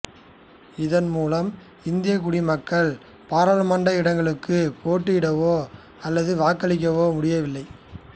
இதன் மூலம் இந்தியக் குடிமக்கள் பாராளுமன்ற இடங்களுக்குப் போட்டியிடவோ அல்லது வாக்களிக்கவோ முடியவில்லை